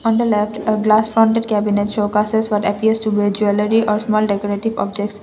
at last glass cabinet show cases atleast jewellery or a small decorative purchase.